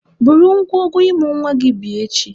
Buru ngwongwo ịmụ nwa gị bịa echi!